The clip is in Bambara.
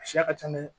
A siya ka ca nɛ